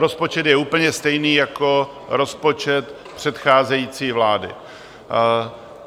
Rozpočet je úplně stejný jako rozpočet přecházející vlády.